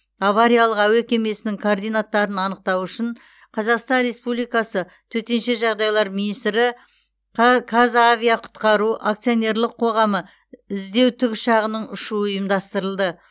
авариялық әуе кемесінің координаттарын анықтау үшін қазақстан республикасы төтенше жағдайлар министрі ка қазавиақұтқару акционерлік қоғамы іздеу тікұшағының ұшуы ұйымдастырылды